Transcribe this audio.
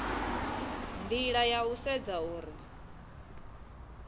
nila ya u sedza uri